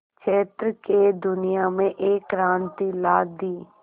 क्षेत्र में दुनिया में एक क्रांति ला दी